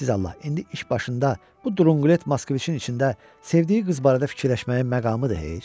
Siz Allah, indi iş başında bu drunqlet Moskviçin içində sevdiyi qız barədə fikirləşməyin məqamıdır heç?